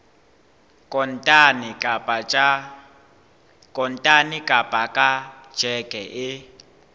kontane kapa ka tjheke e